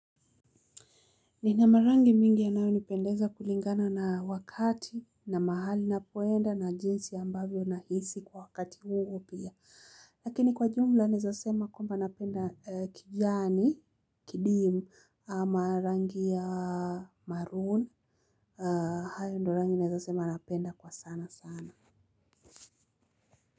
Nina marangi mingi yanayonipendeza kulingana na wakati na mahali napoenda na jinsi ambavyo nahisi kwa wakati huo pia. Lakini kwa jumla naeza sema kwamba napenda kijani, kidim, ama rangi ya maroon, hayo ndio rangi naezasema napenda kwa sana sana.